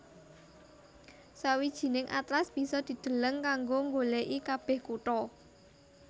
Sawijining atlas bisa dideleng kanggo nggolèki kabèh kutha